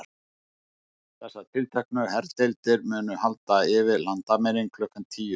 Þessar tilteknu herdeildir munu halda yfir landamærin klukkan tíu í dag.